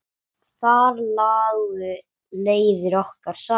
Þar lágu leiðir okkar saman.